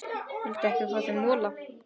Viltu ekki fá þér mola?